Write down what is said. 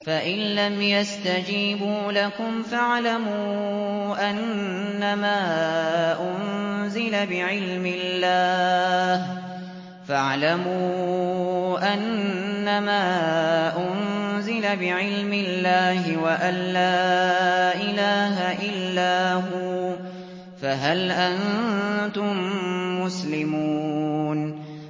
فَإِلَّمْ يَسْتَجِيبُوا لَكُمْ فَاعْلَمُوا أَنَّمَا أُنزِلَ بِعِلْمِ اللَّهِ وَأَن لَّا إِلَٰهَ إِلَّا هُوَ ۖ فَهَلْ أَنتُم مُّسْلِمُونَ